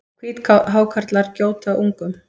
Hvíthákarlar gjóta ungum.